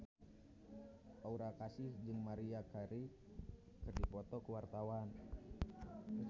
Aura Kasih jeung Maria Carey keur dipoto ku wartawan